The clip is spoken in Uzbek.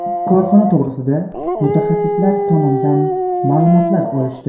Korxona to‘g‘risida mutaxassislar tomonidan ma’lumotlar olishdi.